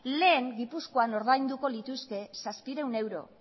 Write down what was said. lehen gipuzkoan ordainduko lituzke zazpiehun euro